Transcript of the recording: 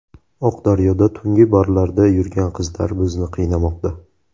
Oqdaryoda tungi barlarda yurgan qizlar bizni qiynamoqda.